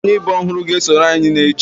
Onye ibe ọhụrụ ga-esonyere anyị n'echi